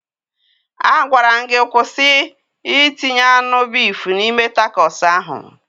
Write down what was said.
A gwaram gi kwụsị itinye anụ bif n'ime takos ahụ